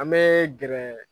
An bɛ gɛrɛ.